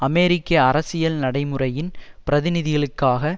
அமெரிக்க அரசியல் நடைமுறையின் பிரதிநிதிகளுக்காக